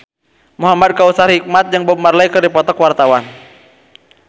Muhamad Kautsar Hikmat jeung Bob Marley keur dipoto ku wartawan